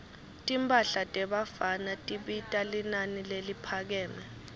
timphahla tebafana tibita linani leliphakeme